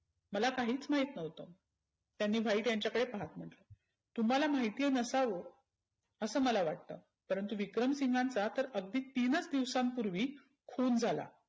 मला काहीच माहीत नव्हतं. त्यांनी व्हाईट यांच्याकदे पाहत म्हटलं. तुम्हाला महिती नसाव असं मला वाटतं. परंतु विक्रमसिंहांचा तर अगदि तीनच दिवसांपुर्वी खुन झाला.